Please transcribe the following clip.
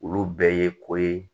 Olu bɛɛ ye ko ye